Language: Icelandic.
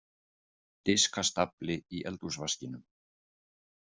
Diskastafli í eldhúsvaskinum.